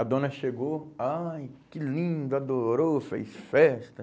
A dona chegou, ai, que linda, adorou, fez festa.